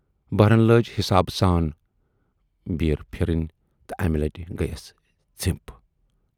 بہرن لٲج حِسابہٕ سان بیٖر پھِرٕنۍ تہٕ امہِ لٹہِ گٔیَس زِپھ۔